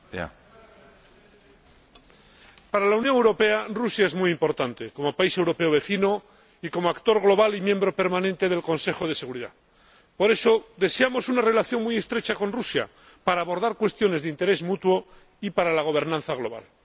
Señor Presidente, para la Unión Europea, Rusia es muy importante como país europeo vecino y como actor global y miembro permanente del Consejo de Seguridad de las Naciones Unidas. Por eso, deseamos una relación muy estrecha con Rusia para abordar cuestiones de interés mutuo y para la gobernanza global.